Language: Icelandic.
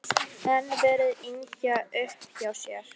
Enn verið að yngja upp hjá sér.